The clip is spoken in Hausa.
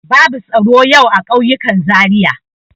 Babu tsaro yau a ƙauyukan Zariya.